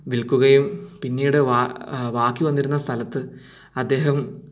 വിൽക്കുകയും പിന്നീട് ബാക്കി വന്നിരുന്ന സ്ഥലത്തു അദ്ദേഹം